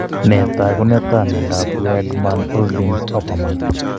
Nee taakunetaab myondap wiedemann oldigs oppermann?